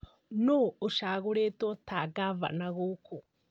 Nũũ ũcagũrĩtwo ta gavana gũkũ?